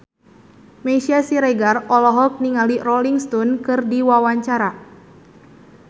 Meisya Siregar olohok ningali Rolling Stone keur diwawancara